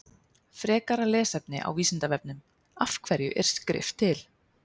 Frekara lesefni á Vísindavefnum: Af hverju er skrift til?